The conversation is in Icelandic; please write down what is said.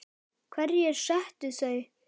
Hverjir settu þau?